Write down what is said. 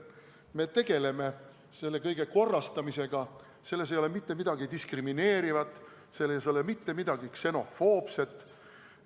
Me tegeleme selle kõige korrastamisega, selles ei ole mitte midagi diskrimineerivat, selles ei ole mitte midagi ksenofoobset.